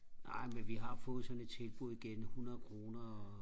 ej men vi har fået sådan et tilbud igen hundrede kroner og